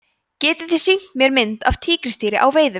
getið þið sýnt mér mynd af tígrisdýri á veiðum